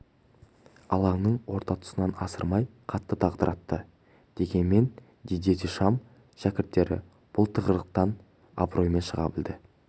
алаңның орта тұсынан асырмай қатты дағдартты дегенмен дидье дешам шәкірттері бұл тығырықтан абыроймен шыға білді